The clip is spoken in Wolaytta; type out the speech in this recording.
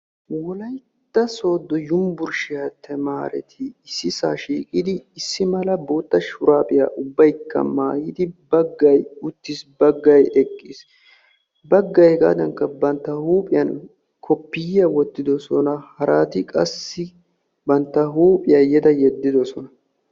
Wolaytta soodo yunbbersttiya tamareetti sohuwa shiiqiddi issi sohuwan issi bolli eqqiddi uttidosonanne eqqidosonna.